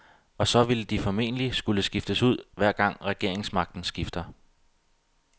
Og så ville de formentlig skulle skiftes ud, hver gang regeringsmagten skifter.